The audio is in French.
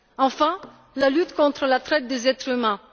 Enfin, la lutte contre la traite des êtres humains.